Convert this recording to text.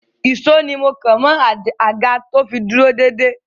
Ìsó ni mọ́ kàn mọ́ àga to fi dúró dédé.